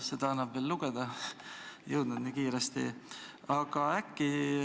Seda annab veel lugeda, nii kiiresti ei jõudnud.